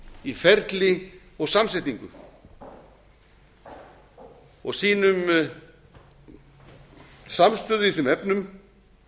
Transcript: í ferli og samsetningu og sínum samstöðu í þeim efnum